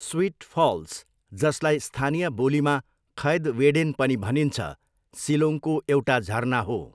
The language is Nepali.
स्विट फल्स, जसलाई स्थानीय बोलीमा खैद वेडेन पनि भनिन्छ, सिलोङको एउटा झरना हो।